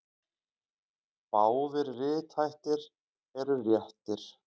Báðir rithættir eru réttir.